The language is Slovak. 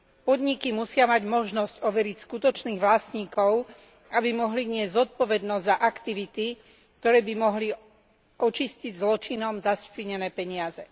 Podniky musia mať možnosť overiť skutočných vlastníkov, aby mohli niesť zodpovednosť za aktivity, ktoré by mohli očistiť zločinom zašpinené peniaze.